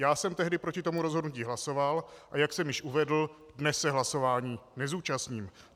Já jsem tehdy proti tomu rozhodnutí hlasoval, a jak jsem již uvedl, dnes se hlasování nezúčastním.